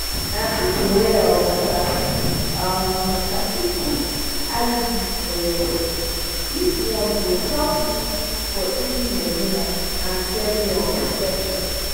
na people wey um sabi um the matter fit put iud for your body. this one go help you for easy main ten ance and steady um protection.